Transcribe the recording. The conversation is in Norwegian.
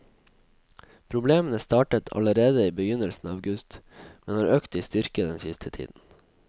Problemene startet allerede i begynnelsen av august, men har økt i styrke den siste tiden.